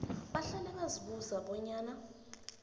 bahlale bazibuza bonyana